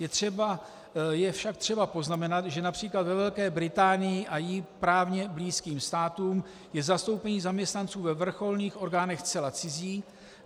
Je však třeba poznamenat, že například ve Velké Británii a jí právně blízkým státům je zastoupení zaměstnanců ve vrcholných orgánech zcela cizí.